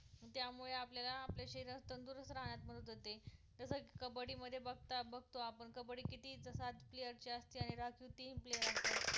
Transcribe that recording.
त्यामुळे आपल्याला आपले शरीर तंदरुस्त राहण्यात मदत होते जसं की कबड्डी मध्ये बघता बघतो आपण की कबड्डी किती तर सात player ची असते आणि राखीव तीन player असतात